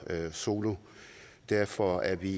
solo derfor er vi